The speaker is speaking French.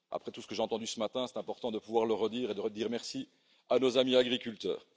Après tout ce que j'ai entendu ce matin, c'est important de pouvoir le redire et de redire merci à nos amis agriculteurs.